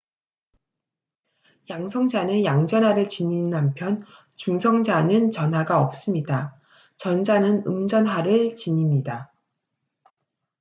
양성자는 양전하를 지니는 한편 중성자는 전하가 없습니다 전자는 음전하를 지닙니다